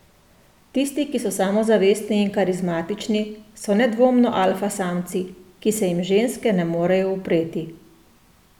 Tisti, ki so samozavestni in karizmatični, so nedvomno alfa samci, ki se jim ženske ne morejo upreti.